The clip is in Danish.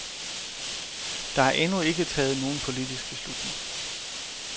Der er endnu ikke taget nogen politisk beslutning.